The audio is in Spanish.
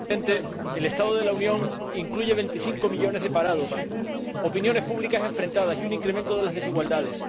Señor Presidente, el Estado de la Unión incluye 25 millones de parados, opiniones públicas enfrentadas y un incremento de las desigualdades.